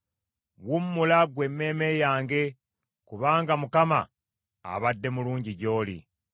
Wummula ggwe emmeeme yange, kubanga Mukama abadde mulungi gy’oli.